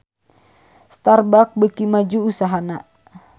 Starbucks beuki maju usahana